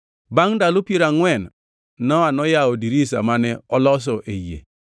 Bangʼ ndalo piero angʼwen Nowa noyawo dirisa mane oloso ei yie,